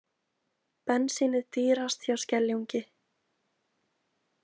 Bensínið dýrast hjá Skeljungi